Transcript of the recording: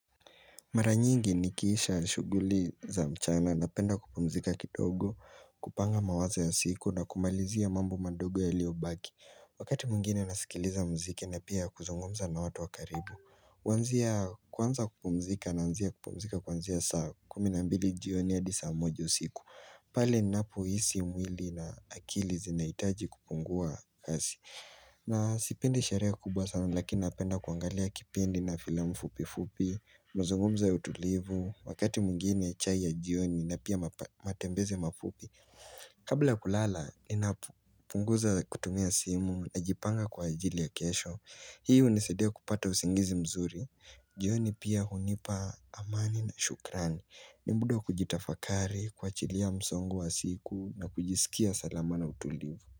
Mara nyingi nikiisha shuguli za mchana napenda kupumzika kidogo kupanga mawazo ya siku na kumalizia mambo madogo yaliobaki Wakati mwengine nasikiliza mziki na pia kuzungumza na watu wa karibu kuanzia kwanza kupumzika naanzia kupumzika kuanzia saa kumi na mbili jioni hadi saa moja usiku pale napohisi mwili na akili zinaitaji kupungua kasi na sipendi sheree kubwa sana lakini napenda kuangalia kipindi na filamu fupifupi Muzungumzo ya utulivu, wakati mwingine chai ya jioni na pia matembeze mafupi Kabla ya kulala, inapunguza kutumia simu, najipanga kwa ajili ya kesho Hii hunisaidia kupata usingizi mzuri jioni pia hunipa amani na shukrani ni mda wa kujitafakari, kuachilia msongo wa siku na kujisikia salama na utulivu.